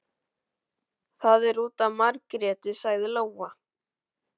Það er út af Margréti, sagði Lóa.